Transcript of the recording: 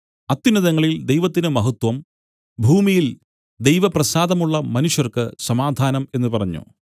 അത്യുന്നതങ്ങളിൽ ദൈവത്തിന് മഹത്വം ഭൂമിയിൽ ദൈവപ്രസാദമുള്ള മനുഷ്യർക്ക് സമാധാനം എന്നു പറഞ്ഞു